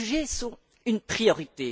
Les réfugiés sont une priorité.